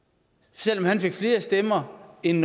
selv om han fik flere stemmer end